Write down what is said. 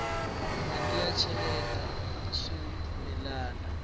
mati ya cheleta swimilana